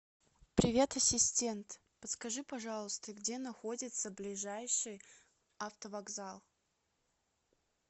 привет ассистент подскажи пожалуйста где находится ближайший автовокзал